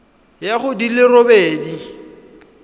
ya go di le robedi